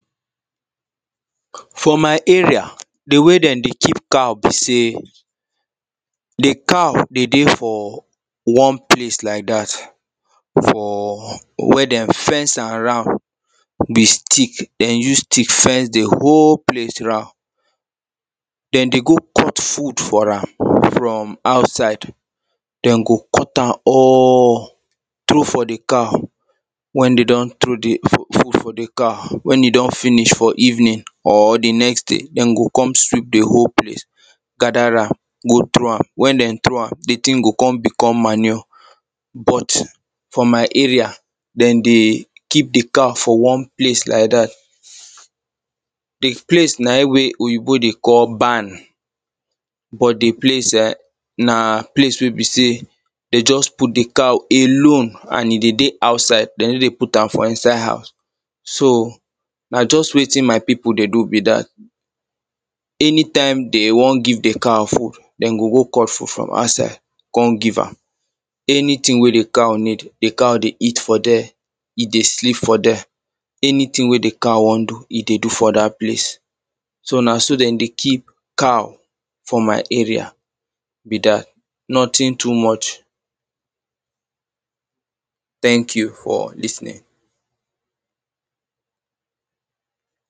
for my area the way they dey keep cow be say the cow dey dey for one place like that for where they fence am round with stick they use stick fence the whole place round they dey go cut food for am from outside they go cut am all throw for the cow when they do?n throw the f food for the cow when e do?n finish for evening or the next day them go come sweep the whole place gather am go throw am when they throw am the thing go come become manure but for my area they dey keep the cow for one place like that the place na im wey oyibo dey call barn but the place e?n na place wey be say they just put the cow alone and e dey dey outside they no dey put am for inside house so na just wetin my people dey do be that anytime they wan give the cow food they go go cut food from outside come give am anything wey the cow need the cow dey eat for there e dey sleep for there anything wey the cow wan do e dey do for that place so na so they dey keep cow for my area be that nothing too much thank you for lis ten ing